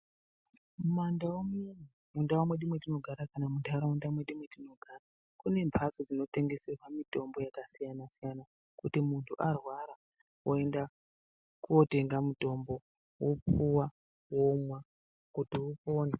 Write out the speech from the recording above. Mumandau muno mundau mwedu mwatinogara kana muntaraunda mwedu mwetinogara kune mbatso dzinotengeserwa mitombo yakasiyana siyana kuti muntu arwara oenda kotenga mutombo wopuwa womwa kuti upone.